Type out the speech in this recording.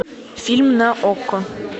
фильм на окко